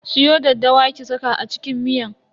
Siyo daddawa ki saka a cikin miyan.